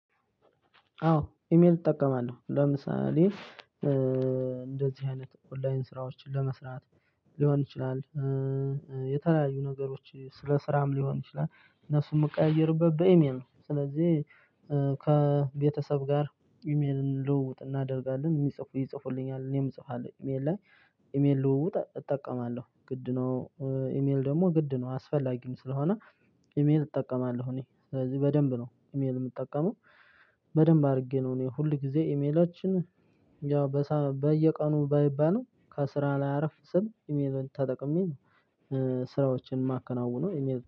አዎ ኢሜል እጠቀማለሁ ለምሳሌ እንደዚህ አይነት ኦንላይን ስራዎችን ለመስራት ሊሆን ይችላል። የተለያዩ ነገሮች ስለ ስራም ሊሆን ይችላል። እነሱም የምቀያየርበት በኢሜል ስለዚህ ከቤተሰብ ጋር ኢሜልን ልውውጥ እናደርጋለን የሚጽፉ ይጽፉልኛል እኔም እጽፋለሁ ኢሜል ላይ ኢሜል ልውውጥ እጠቀማለሁ ግድ ነው። ኢሜል ደግሞ ግድ ነው አስፈላጊው ስለሆነ ኢሜል እጠቀማለሁ። እኔ ስለዚህ በደንብ ነው ኢሜል የምጠቀመው በደንብ አድርጌ ነው እኔ ሁል ጊዜ ኢሜሎችን ያው በየቀኑ ባይባልም ከስራ ላይ አረፍ ስል ኢሜሌን ተጠቅሜ ነው። ስራዎችን የማከናወኑ